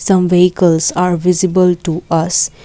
some vehicles are visible to us.